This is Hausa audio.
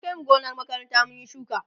an Kai mu gonar makaranta mun Yi shuka